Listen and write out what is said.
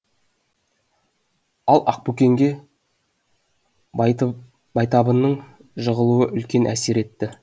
ал ақбөкенге байтабынның жығылуы үлкен әсер етті